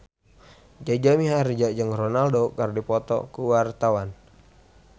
Jaja Mihardja jeung Ronaldo keur dipoto ku wartawan